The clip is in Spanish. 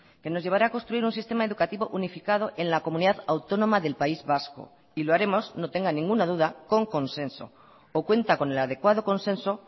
que nos llevará a construir un sistema educativo unificado en la comunidad autónoma del país vasco y lo haremos no tenga ninguna duda con consenso o cuenta con el adecuado consenso